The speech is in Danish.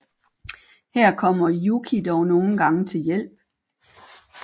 Her kommer Yuki dog nogle gange til hjælp